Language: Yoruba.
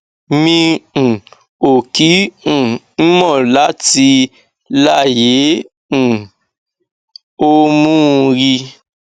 mi um ò kí um ń mọtí láyé n um ò mu ún rí